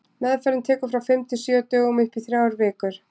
Meðferðin tekur frá fimm til sjö dögum og upp í þrjár vikur.